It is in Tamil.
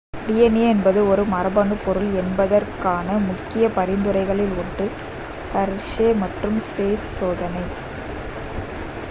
dna என்பது ஒரு மரபணு பொருள் என்பதற்கான முக்கிய பரிந்துரைகளில் ஒன்று ஹெர்ஷே மற்றும் சேஸ் சோதனை